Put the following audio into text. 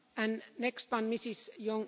Laat ik positief beginnen.